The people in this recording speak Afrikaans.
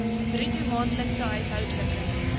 bruto maandelikse huishoudelike